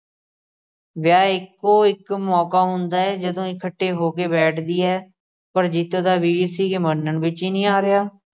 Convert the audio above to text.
ਵਿਆਹ ਇੱਕੋ ਇੱਕ ਮੌਕਾ ਹੁੰਦਾ ਏ ਜਦੋਂ ਇਕੱਠੇ ਹੋ ਕੇ ਬੈਠ ਦੀਆਂ ਪਰ ਜੀਤੋ ਦਾ ਵੀਰ ਸੀ ਕਿ ਮੰਨਣ ਵਿੱਚ ਹੀ ਨੀ ਆ ਰਿਹਾ।